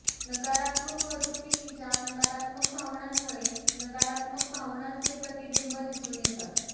नकारात्मक वर्तणुकीच्या नकारात्मक भावनांमुळे नकारात्मक भावनांचे प्रतिबिंब दिसून येतात